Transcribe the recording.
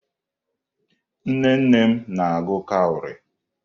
Nnenne m na-agụ kawrị.